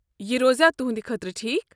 یہِ روزیٛا تُہنٛدِ خٲطرٕ ٹھیک؟